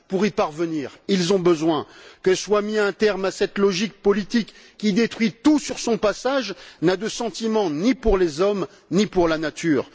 Pour y parvenir, ils ont besoin que soit mis un terme à cette logique politique qui détruit tout sur son passage, qui n'a de sentiment ni pour les hommes, ni pour la nature.